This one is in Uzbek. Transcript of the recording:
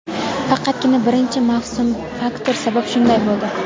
faqatgina birinchi mavsum faktori sabab shunday bo‘ldi.